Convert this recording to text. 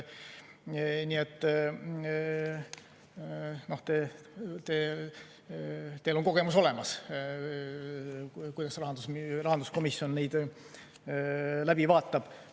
Nii et teil on kogemus olemas, kuidas rahanduskomisjon neid läbi vaatab.